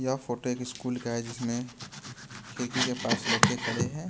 यह फोटो एक स्कूल का है जिसमें खिड़की के पास लड़के खड़े हैं।